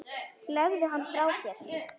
Legðu hann frá þér